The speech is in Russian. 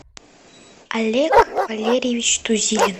олег валерьевич тузилин